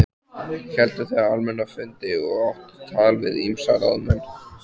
Héldu þau almenna fundi og áttu tal við ýmsa ráðamenn.